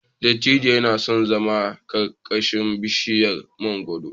Dattijon yana son zama ƙarƙashin bishiyar mangwaro.